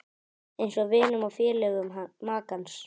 Eins vinum og félögum makans.